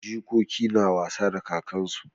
Jikoki na wasa da kakansu.